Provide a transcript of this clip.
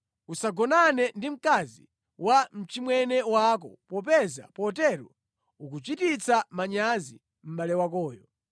“ ‘Usagonane ndi mkazi wa mchimwene wako popeza potero ukuchititsa manyazi mʼbale wakoyo.